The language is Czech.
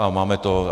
A máme to.